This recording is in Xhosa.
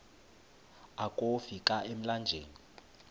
akofi ka emlanjeni